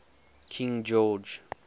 king george